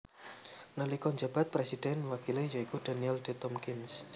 Nalika njabat présidhèn wakilé ya iku Daniel D Tompkins